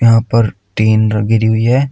यहां पर तीन गिरी हुई है।